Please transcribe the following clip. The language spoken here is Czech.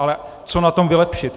Ale co na tom vylepšit?